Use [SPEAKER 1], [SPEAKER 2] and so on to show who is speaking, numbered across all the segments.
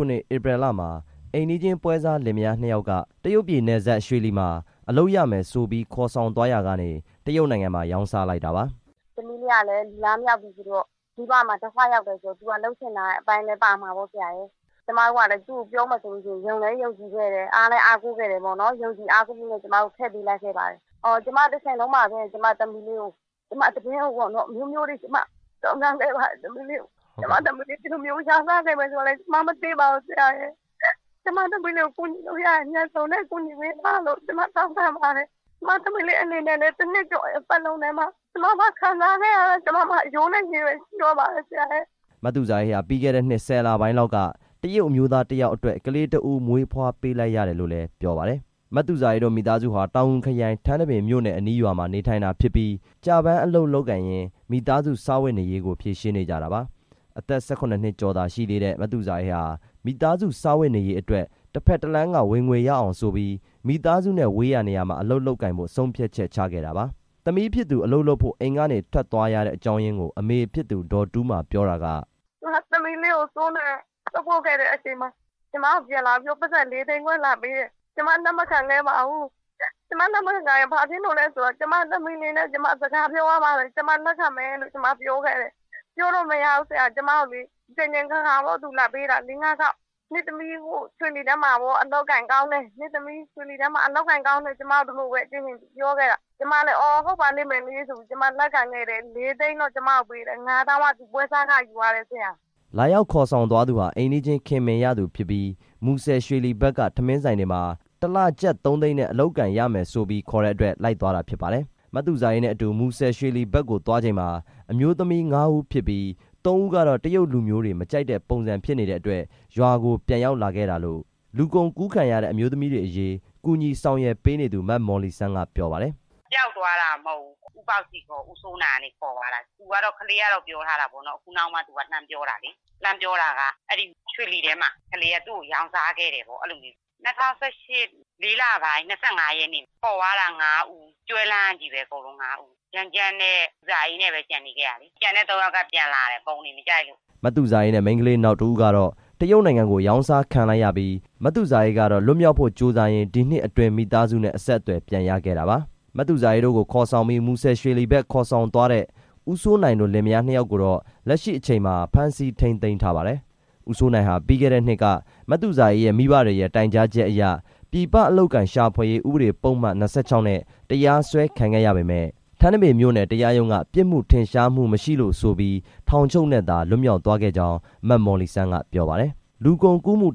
[SPEAKER 1] ုနှစ် ဧပြီလမှာ အိမ်နီးချင်း ပွဲစားလင်မယားနှစ်ယောက်က တရုတ်ပြည်နယ်စပ် ရွှေလီမှာ အလုပ်ရမယ်ဆိုပြီး ခေါ်ဆောင်သွားရာကနေ တရုတ်နိုင်ငံမှာ ရောင်းစားလိုက်တာပါ။ "သမီးလေးကလည်း လူလားမြောက်ပြီဆိုတော့ မိဘမှာဒုက္ခရောက်တယ်ဆိုတော့ သူကလုပ်ချင်တဲ့အပိုင်းလည်း ပါမှာပေါ့၊ ကျမတို့ကလည်း သူ့ကိုပြောမယ်ဆိုလို့ရှိရင် ယုံလည်းယုံကြည်ခဲ့တယ် အားလည်း အားကိုးခဲ့တယ်ပေါ့နော်၊ ယုံကြည်အားကိုးခဲ့လို့ ကျမတို့ထည့်ပေးလိုက်ခဲ့ပါတယ်၊ ကျမသမီးလေးသတင်းကိုပေါ့နော် အမျိုးမျိုးတွေ စုံစမ်းခဲ့ ပါတယ်၊ သမီးလေးကို ကျမသမီးလေးကို ရောင်းစားခဲ့မယ်ဆိုတာလည်း ကျမမသိပါဘူး ကျမသမီးလေးကို ကူညီ လို့ရရင် အမြန်ဆုံးနဲ့ ကူညီပေးပါလို့ ကျမ တောင်းခံပါတယ်၊ ကျမသမီးလေးအနေနဲ့လည်း တစ်နှစ်ကျော်ပတ်လုံးမှာ ကျမမှာခံစားခဲ့ရတာ ကျမမှာအရိုးနဲ့ အရည်ပဲရှိပါတော့တယ်" မသူဇာအေးဟာ ပြီးခဲ့တဲ့နှစ် ၁၀ လပိုင်းလောက်က တရုတ်အမျိုးသားတယောက်အတွက် ကလေးတစ်ဦး မွေးဖွားပေးလိုက်ရတယ်လို့လည်း ပြောပါတယ်။ မသူဇာအေးတို့ မိသားစုဟာ တောင်ငူခရိုင် ထန်းတပင်မြို့နယ်အနီးရွာမှာ နေထိုင်တာဖြစ်ပြီး ကျပန်းအလုပ်လုပ် ကိုင်ရင်း မိသားစုစားဝတ်နေရေးကို ဖြေရှင်းနေကြတာပါ။ အသက် ၁၇ နှစ်ကျော်သာရှိသေးတဲ့ မသူဇာအေးဟာ မိသားစုစားဝတ်နေရေးအတွက် တဖက်တလမ်းက ဝင်ငွေရအောင်ဆိုပြီး မိသားစုနဲ့ဝေးရာ နေရာမှာအလုပ်လုပ်ကိုင်ဖို့ ဆုံးဖြတ်ချက်ချခဲ့တာပါ။ သမီးဖြစ်သူ အလုပ်လုပ်ဖို့ အိမ်ကနေ ထွက်သွားရတဲ့အကြောင်းရင်းကို အမေဖြစ်သူ ဒေါ်တူးမာ ပြောပြတာက "ကျမသမီးလေးကို စိုးနိုင်က သွားပို့ခဲ့တဲ့အချိန်မှာ ကျမကိုပြန်လာပြီးတော့ ပိုက်ဆံ လေးသိန်းခွဲလာပေးတယ်၊ ကျမ လက်မခံခဲ့ပါဘူး ကျမလက်မခံတာ ဘာဖြစ်လို့လဲဆိုတော့ ကျမသမီးလေးနဲ့ ကျမစကားပြောရရင် ကျမလက်ခံမယ် ပြောခဲ့တယ်၊ အကြိမ်ကြိမ်အခါခါပေါ့ လာပေးတာ နင့်သမီး ရွှေလီထဲမှာပေါ့ အလုပ်အကိုင်ကောင်းတယ်၊ ကျမလည်း ဟုတ်ပါလိမ့်မယ်ဆိုပြီး ကျမလက်ခံခဲ့တယ်၊ လေးသိန်းတော့ ကျမကိုပေးတယ်၊ ငါးသောင်းက သူပွဲစားခယူသွားတယ်" လာရောက်ခေါ်ဆောင်သွားသူဟာ အိမ်းနီးနားချင်း ခင်မင်ရသူဖြစ်ပြီး မူဆယ် - ရွှေလီဘက်က ထမင်းဆိုင်တွေမှာ တစ်လ ကျပ် သုံးသိန်းနဲ့ အလုပ်အကိုင်ရမယ်ဆိုပြီး ခေါ်တဲ့အတွက် လိုက်သွားတာ ဖြစ်ပါတယ်။ မသူဇာအေးနဲ့အတူ မူဆယ် - ရွှေလီဘက်ကိုသွားချိန်မှာ အမျိုးသမီး ငါးဦးဖြစ်ပြီး သုံးဦးကတော့ တရုတ်လူမျိုးတွေ မကြိုက်တဲ့ပုံစံဖြစ်နေတဲ့အတွက် ရွာကိုပြန်ရောက်လာခဲ့တာလို့ လူကုန်ကူးခံရတဲ့ အမျိုးသမီးတွေအရေး ကူညီဆောင်ရွက်ပေးနေသူ မမော်လီဆန်း က ပြောပါတယ်။ "ပျောက်သွားတာမဟုတ်ဘူး ခေါ်သွားတာပေါ့၊ ဦးစိုးနိုင်က ခေါ်သွားတာ၊ ဦးပေါက်စီ ဦးစိုးနိုင်က ခေါ်သွားတာ ကလေးက လှမ်းပြေတာက အဲရွှေလီထဲမှာ သူ့ကိုရောင်းစားခဲ့တယ်ပေါ့၊ ၂၀၁၈ လေးလပိုင်း ၂၅ ရက်နေ့ ခေါ်သွားတာ၊ ငါးဦး ကျွဲလန်းကချည်းပဲ၊ ဂျမ်းဂျမ်းနဲ့ သူဇာအေးနဲ့ပဲ ကျန်နေခဲ့တာ၊ ကျန်တဲ့ သုံးယောက်က ပြန်လာတယ် ပုံတွေ မကြိုက်လို့" မသူဇာအေးနဲ့ မိန်းခလေးနောက်တစ်ဦးကတော့ တရုတ်နိုင်ငံကို ရောင်းစားခံလိုက်ရပြီး မသူဇာအေးကတော့ လွတ်မြောက်ဖို့ကြိုးစားရင်း ဒီနှစ်အတွင်း မိသားစုနဲ့ အဆက်အသွယ်ပြန်ရခဲ့တာပါ။ မသူဇာအေးတို့ကို ခေါ်ဆောင်ပြီး မူဆယ် - ရွှေလီဘက် ခေါ်ဆောင်သွားတဲ့ ဦးစိုးနိုင်တို့လင်မယား နှစ်ယောက်ကိုတော့ လက်ရှိအချိန်မှာ ဖမ်းဆီးထိန်းသိမ်းထားပါတယ်။ ဦးစိုးနိုင်ဟာ ပြီးခဲ့တဲ့နှစ်က မသူဇာအေးရဲ့ မိဘတွေရဲ့ တိုင်ကြားချက်အရ ပြည်ပအလုပ်အကိုင်ရှာဖွေရေး ဥပဒေပုဒ်မ ၂၆ နဲ့ တရားစွဲခံခဲ့ရပေမယ့် ထန်းတပင်မြို့နယ် တရားရုံးက ပြစ်မှုထင်ရှားမှုမရှိလို့ဆိုပြီး ထောင်ချုပ်နဲ့သာ လွတ်မြောက်သွားခဲ့ကြောင်း မမော်လီစန်းက ပြောပါတယ်။ လူကုန်ကူးမှု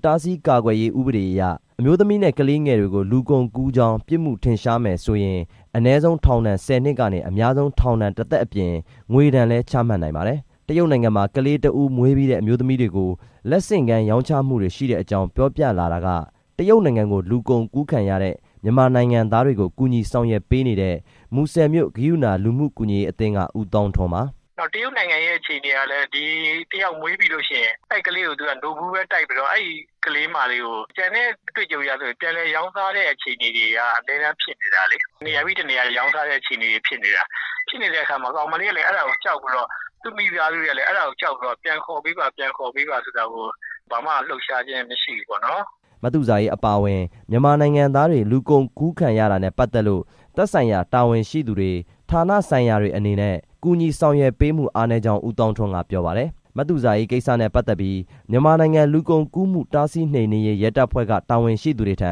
[SPEAKER 1] ကာကွယ်တားဆီးရေး ဥပဒေအရ အမျိုးသမီးနဲ့ ကလေးငယ်တွေကို လူကုန်ကူးကြောင်း ပြစ်မှု ထင်ရှားမယ်ဆိုရင် အနည်ဆုံးထောင်ဒဏ် ၁၀ နှစ်ကနေ အများဆုံး ထောင်ဒဏ်တစ်သက်အပြင် ငွေဒဏ်လည်း ချမှတ်နိုင်ပါတယ်။ တရုတ်နိုင်ငံမှာ ကလေးတစ်ဦးမွေးပြီးတဲ့ အမျိုးသမီးတွေကို လက်ဆင့်ကမ်းရောင်းချမှုတွေရှိတဲ့အကြောင်း တရုတ်နိုင်ငံကို လူကုန်ကူးခံရတဲ့ မြန်မာနိုင်ငံသားတွေကို ကူညီဆောင်ရွက်ပေးနေတဲ့ မူဆယ်မြို့ ကရုဏာ လူမှုကူညီရေးအသင်းက ဦးသောင်းထွန်း ပြောပြပါတယ်။ "တရုတ်နိုင်ငံရဲ့ အခြေအနေကလည်း ဒီတစ်ယောက်မွေးပြီးလို့ရှိရင် အဲကလေးကို သူကနို့ဘူးပဲတိုက်ပြီးတော့ အဲကလေးမလေးကို အတွေ့အကြုံအရဆို ပြန်လည်ရောင်းစားတဲ့ အခြေအနေတွေက အမြဲတမ်းဖြစ်နေတာလေ၊ တစ်နေရာပြီး တစ်နေရာ ရောင်းစားတဲ့ အခြေအနေဖြစ်နေတာဖြစ်နေတော့ ကောင်မလေးကလည်း အဲဒါကိုကြောက် ပြီးတော့ သူ့မိသားစုတွေကလည်း အဲဒါကိုကြောက်ပြီးတော့ ပြန်ခေါ်ပေးပါဆိုတာကို ဘာမှလှုပ်ရှားခြင်း မရှိဘူး ပေါ့နော်" မသူဇာအေး အပါအဝင် မြန်မာနိုင်ငံသားတွေ လူကုန်ကူးခံရတာနဲ့ ပတ်သက်လို့ သက်ဆိုင်ရာ တာဝန်ရှိသူတွေ ဌာနဆိုင်ရာတွေအနေနဲ့ ကူညီဆောင်ရွက်ပေးမှု အားနည်းကြောင်း ဦးသောင်းထွန်းက ပြောပါတယ်။ မသူဇာအေး ကိစ္စနဲ့ပတ်သက်ပြီး မြန်မာနိုင်ငံ လူကုန်ကူးမှုတားဆီး နှိမ်နင်းရေး ရဲတပ်ဖွဲ့က တာဝန်ရှိသူထံ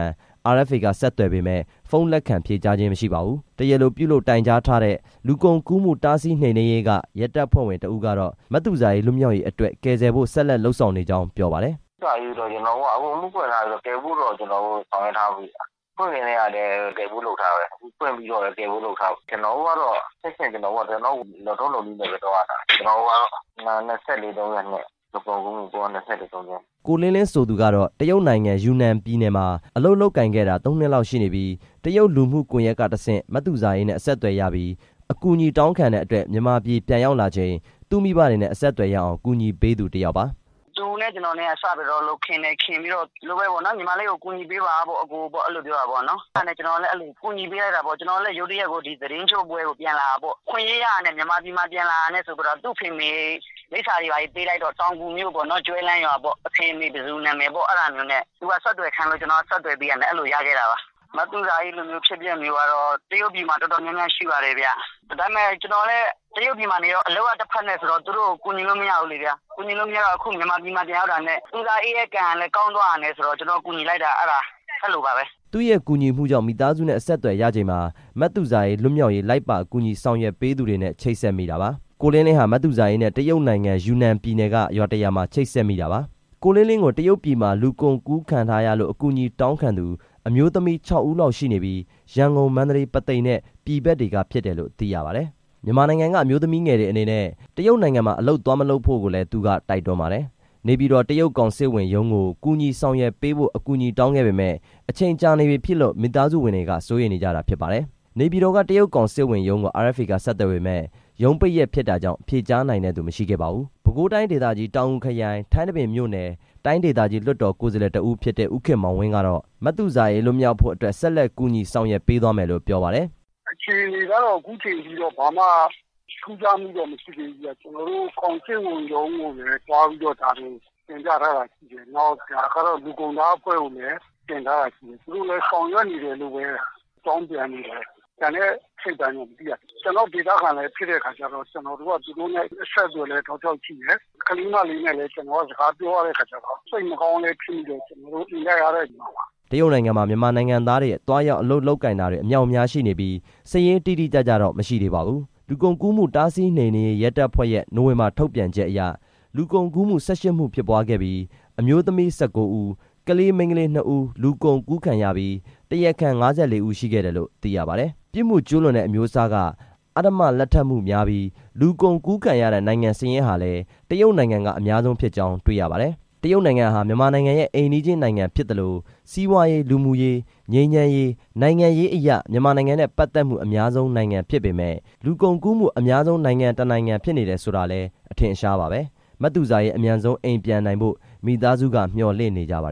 [SPEAKER 1] RFA က ဆက်သွယ်ပေမယ့် ဖုန်းလက်ခံဖြေကြားခြင်း မရှိပါဘူး။ တရားလိုပြုလုပ်တိုင်ကြားထားတဲ့ လူကုန်ကူးမှုတားဆီး နှိမ်နင်းရေးက ရဲတပ်ဖွဲ့ဝင် တစ်ဦးကတော့ မသူဇာအေး လွတ်မြောက်ရေးအတွက် ကယ်ဆယ်ဖို့ ဆက်လက်လုပ်ဆောင်နေကြောင်း ပြောပါတယ်။ "မသူဇာအေးကိစ္စက ကျတော်တို့ အကုန်အမှုဖွင့်ထားပြီး ကယ်ဖို့တော့ ကျတော်တို့ ဆောင်ရွက်ထားပြီးပြီခင်ဗျ မဖွင့်ခင်တည်းကလည်း ကယ်ဖို့လုပ်ထားတာပဲ၊ ဖွင့်ပြီးတော့လည်း ကယ်ဖို့လုပ်ထားတာ ကျတော်တို့ကတော့ လုပ်ထုံးလုပ်နည်းနဲ့ပဲ သွားရတာ ၂၄/၃၂ လူကုန်ကူးမှု ပုဒ်မ ၂၄/၃၂ နဲ့" ကိုလင်းလင်း ဆိုသူကတော့ တရုတ်နိုင်ငံ ယူနန်ပြည်နယ်မှာ အလုပ်လုပ်ကိုင်ခဲ့တာ ၃ နှစ်လောက် ရှိနေပြီး တရုတ်လူမှုကွန်ယက်ကတဆင့် မသူဇာအေးနဲ့ အဆက်အသွယ်ရပြီး အကူအညီတောင်းခံတဲ့အတွက် မြန်မာပြည် ပြန်ရောက်လာချိန် သူ့မိဘတွေနဲ့ အဆက်အသွယ်ရအောင် ကူညီပေးသူ တစ်ယောက်ပါ။ "သူနဲ့ကျတော်နဲ့က စပြီးတော့ ခင်တယ်၊ ခင်ပြီးတော့ ညီမလေးကို ကူညီပေးပါပေါ့၊ အဲဒါနဲ့ကျတော်လည်း ကျတော် လည်း ရုတ်တရက်ကို သတင်းကျွတ်ပွဲ ပြန်လာတာပေါ့၊ အခွင့်အရေးရတာနဲ့ မြန်မာပြည်လာတာနဲ့ သူ့အဖေအမေ လိပ်စာတွေဘာတွေ ပေးလိုက်တော့ တောင်ငူမြို့ပေါ့နော် ကျွဲလန်းရွာပေါ့၊ အဖေအမေတွေနဲ့ ဆက်သွယ်ခိုင်းတော့ ဆက်သွယ်ပေးလိုက်တာပါ၊ မသူဇာအေးလို အဖြစ်အပျက်မျိုးကတော့ တရုတ်ပြည်မှာတော်တော်များများ ရှိပါတယ်။ ကျတော်လည်း တရုတ်ပြည်မှာ အလုပ်တဖက် နဲ့ဆိုတော့ သူတို့ကိုကူညီလို့မရဘူးလေ၊ မြန်မာပြည်ပြန်ရောက်တော့ သူဇာအေးရဲ့ကံလည်း ကောင်းသွားတာနဲ့ ကူညီဖြစ်တာပါ" သူ့ရဲ့ကူညီမှုကြောင့် မိသားစုနဲ့အဆက်အသွယ်ရချိန်မှာ မသူဇာအေး လွတ်မြောက်ရေး လိုက်ပါကူညီဆောင်ရွက် ပေးသူတွေနဲ့ချိတ်ဆက်မိတာပါ။ ကိုလင်းလင်းဟာ မသူဇာအေးနဲ့ တရုတ်နိုင်ငံ ယူနန်ပြည်နယ်က ရွာတစ်ရွာမှာ ချိတ်ဆက်မိတာပါ။ ကိုလင်းလင်း ကို တရုတ်ပြည်မှာ လူကုန်ကူးခံထားရလို့် အကူအညီတောင်းခံသူ အမျိုးသမီး ခြောက်ဦးလောက်ရှိနေပြီး ရန်ကုန်၊ မန္တလေး၊ ပုသိမ်နဲ့ ပြည်ဘက်တွေက ဖြစ်တယ်လို့ သိရပါတယ်။ မြန်မာနိုင်ငံက အမျိုးသမီးငယ်တွေအနေနဲ့ တရုတ်နိုင်ငံမှာ အလုပ်သွားမလုပ်ဖို့ကိုလည်း သူကတိုက်တွန်းပါတယ်။ နေပြည်တော် တရုတ်ကောင်စစ်ဝန်ရုံးကို ကူညီဆောင်ရွက်ပေးဖို့ အကူအညီတောင်းခဲ့ပေမယ့် အချိန်ကြာနေပြီဖြစ်လို့ မိသားစုဝင်တွေက စိုးရိမ်နေကြတာ ဖြစ်ပါတယ်။ နေပြည်တော်က တရုတ်ကောင်စစ်ဝန်ရုံးကို RFA က ဆက်သွယ်ပေမယ့် ရုံးပိတ်ရက်ဖြစ်တာကြောင့် ဖြေကြားနိုင်တဲ့သူ မရှိခဲ့ပါဘူး။ ပဲခူးတိုင်းဒေသကြီး တောင်ငူခရိုင် ထန်းတပင်မြို့နယ် တိုင်းဒေသကြီး လွှတ်တော် ကိုယ်စားလှယ် တစ်ဦးဖြစ်တဲ့ ဦးခင်မောင်ဝင်း ကတော့ မသူဇာအေးလွတ်မြောက်ဖို့အတွက် ဆက်လက် ကူညီဆောင်ရွက်ပေးသွားမယ်လို့ ပြောပါတယ်။ "အခြေအနေကတော့ အခုအချိန်ထိတော့ ဘာမှထူးခြားမှုတော့ မရှိသေးဘူး၊ ကျတော်တို့ ကောင်စစ်ဝန်ရုံးကိုလည်း သွားပြီးတော့ တင်ပြထားတာရှိတယ်၊ လူကုန်တားအဖွဲ့ကိုလည်း တင်ထားတာရှိတယ်၊ သူတို့လည်း ဆောင်ရွက်နေ တယ်လို့ပဲ အကြောင်းပြန်သေးတယ်၊ ကျန်တဲ့အစိတ်အပိုင်းတော့ မသိရသေးဘူး၊ ကျတော်တို့ဒေသခံလည်း ဖြစ်တဲ့အခါကျတော့ အဆက်အသွယ်ရှိတယ်၊ ကလေးမလေးနဲ့လည်း ကျတော်ကစကားပြောရတဲ့အခါကျတော့ စိတ်မကောင်းဖြစ်မိတယ်၊ ကျတော်တို့ အင်တိုက်အားတိုက် ကူညီမှာပါ" တရုတ်နိုင်ငံမှာ မြန်မာနိုင်ငံသားတွေ အလုပ်သွားရောက်လုပ်ကိုင်တာတွေ အမြောက်အမြားရှိနေပြီး စာရင်း တိတိကျကျတော့ မရှိသေးပါဘူး။ လူကုန်ကူးမှုတားဆီးနှိမ်နင်းရေး ရဲတပ်ဖွဲ့ရဲ့ နိုဝင်ဘာလထုတ်ပြန်ချက်အရ လူကုန်ကူးမှု ၁၈ မှုဖြစ်ပွားခဲ့ပြီး အမျိုးသမီး ၁၉ ဦး၊ ကလေးမိန်းခလေး နှစ်ဦး လူကုန်ကူးခံခဲ့ရပြီး တရားခံ ၅၄ ဦးရှိခဲ့တယ်လို့ သိရပါ တယ်။ ပြစ်မှုကျူးလွန်တဲ့အမျိုးအစားက အဓမ္မလက်ထပ်မှုများပြီး လူကုန်ကူးခံရတဲ့ နိုင်ငံစာရင်းဟာလည်း တရုတ်နိုင်ငံက အများဆုံးဖြစ်ကြောင်းတွေ့ရပါတယ်။ တရုတ်နိုင်ငံဟာ မြန်မာနိုင်ငံရဲ့ အိမ်နီးချင်းနိုင်ငံဖြစ်သလို စီးပွားရေး၊ လူမှုရေး၊ ငြိမ်းချမ်းရေး၊ နိုင်ငံရေးအရ မြန်မာနိုင်ငံနဲ့ ပတ်သက်မှု အများဆုံးနိုင်ငံဖြစ်ပေမယ့် လူကုန်ကူးမှု အများဆုံး နိုင်ငံတစ်နိုင်ငံဖြစ်နေတယ်ဆိုတာလည်း အထင်အရှားပါဘဲ။ မသူဇာအေး အမြန်ဆုံးအိမ်ပြန်နိုင်ဖို့ မိသားစုက မျှော်လင့်နေကြပါတယ်